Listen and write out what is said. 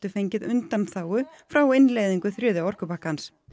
fengið undanþágu frá innleiðingu þriðja orkupakkans